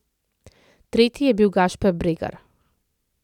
Tretji je bil Gašper Bregar.